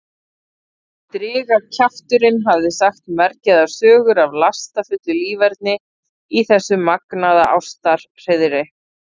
Strigakjafturinn hafði sagt mergjaðar sögur af lastafullu líferni í þessu magnaða ástarhreiðri.